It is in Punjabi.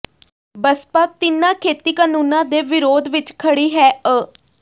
ਬਸਪਾ ਤਿੰਨਾਂ ਖੇਤੀ ਕਾਨੂੰਨਾਂ ਦੇ ਵਿਰੋਧ ਵਿਚ ਖੜੀ ਹੈ ਅ